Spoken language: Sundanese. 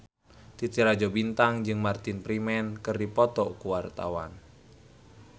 Titi Rajo Bintang jeung Martin Freeman keur dipoto ku wartawan